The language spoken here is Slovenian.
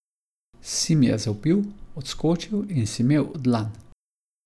Sim je zavpil, odskočil in si mel dlan.